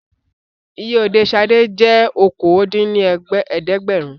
Iye Òde Ṣadé jẹ́ okòó dín ní ẹ̀ẹ́dẹ́gbẹ́rún